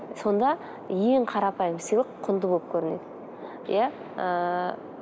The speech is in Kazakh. сонда ең қарапайым сыйлық құнды болып көрінеді иә ііі